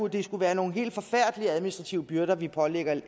det skulle være nogle helt forfærdelige administrative byrder vi pålægger